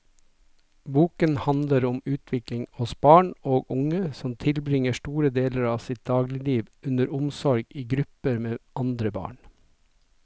Boken handler om utvikling hos barn og unge som tilbringer store deler av sitt dagligliv under omsorg i gruppe med andre barn.